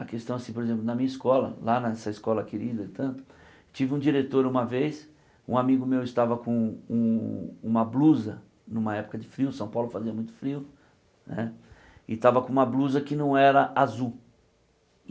A questão assim, por exemplo, na minha escola, lá nessa escola querida e tanto, tive um diretor uma vez, um amigo meu estava com um uma blusa, numa época de frio, São Paulo fazia muito frio né, e estava com uma blusa que não era azul.